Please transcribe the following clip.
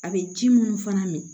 A bɛ ji minnu fana min